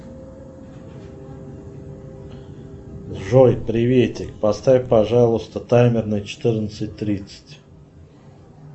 джой приветик поставь пожалуйста таймер на четырнадцать тридцать